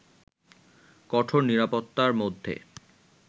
কঠোর নিরাপত্তার মধ্যে